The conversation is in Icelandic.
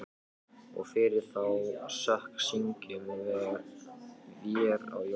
Og fyrir þá sök syngjum vér á jólum